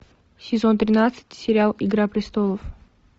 сезон тринадцать сериал игра престолов